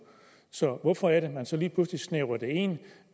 så hvorfor er det man så lige pludselig snævrer det ind